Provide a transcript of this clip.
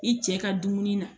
I cɛ ka dumuni na